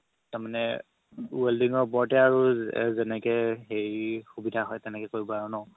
তাৰমানে welding ৰ ওপৰতে আৰু যেনেকে হেৰি সুবিধা হয় তেনেকে কৰিবা আৰু ন